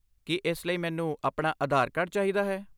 ਕੀ ਇਸ ਲਈ ਮੈਨੂੰ ਆਪਣਾ ਆਧਾਰ ਕਾਰਡ ਚਾਹੀਦਾ ਹੈ?